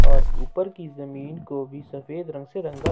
और ऊपर की जमीन को भी सफेद रंग से रंगा--